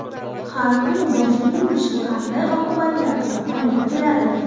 Har kuni boshni yuvish qanday oqibatlarga olib keladi?.